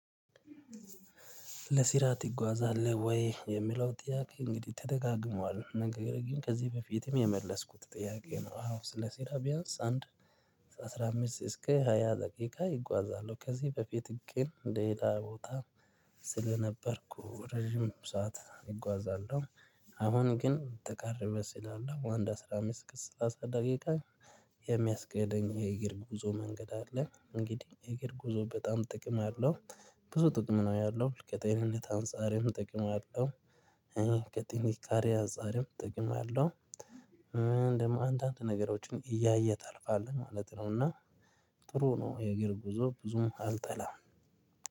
ለስራ ትጓዛለህ ወይ? የሚለው ጥያቄ እንግዲህ ተደጋግሟዋል። ነገር ግን ከዚህ በፊትም የመለስኩት ጥያቄ ነው። አዎ ስለ ስራ ቢያንስ አንድ አስራ አምስት እስከ ሃያ ደቂቃ እጓዛለሁ። ከዚህ በፊት ግን ሌላ ቦታ ስለነበርኩ ረጅም ሰዓት እጓዛለሁ። አሁን ግን ተቃርበህ ስላለው አንድ አስራ አምስት እስከ ስላሳ ደቂቃ የሚያስኬደኝ የእግር ጉዞ መንገድ አለ። እንግዲህ የእግር ጉዞ በጣም ጥቅም አለው። ብዙ ጥቅም ነው ያለው። ከጤንነት አንፃርም ጥቅም አለው። ከጥንካሬ አንፃርም ጥቅም አለው። እን ደሞ አንድ አንድ ነገሮችን እያየህ ታልፋለህ ማለት ነው። እና ጥሩ ነው የእግር ጉዞ ብዙም አልጠላም።